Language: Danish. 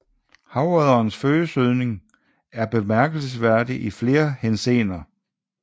Havodderens fødesøgning er bemærkelsesværdig i flere henseender